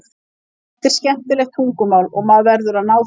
Þetta er skemmtilegt tungumál og maður verður að ná þessu.